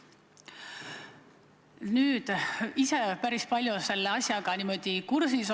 Ma olen asjaga päris hästi kursis.